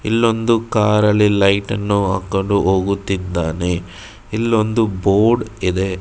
ಇಲ್ಲೊಂದು ಕಾರ ಲ್ಲಿ ಲೈಟ ನ್ನು ಹಾಕೊಂಡು ಹೋಗುತ್ತಿದ್ದಾನೆ ಇನ್ನೊಂದು ಬೋರ್ಡ್ ಇದೆ.